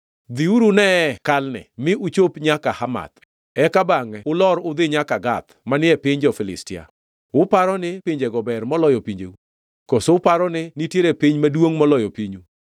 Dhiuru uneye Kalne, mi uchop nyaka Hamath, eka bangʼe ulor udhi nyaka Gath manie piny jo-Filistia. Uparo ni pinjego ber moloyo pinjeu? Koso uparo ni nitiere piny maduongʼ moloyo pinyu?